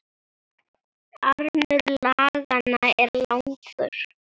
Armur laganna er langur